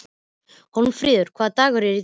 Hólmfríður, hvaða dagur er í dag?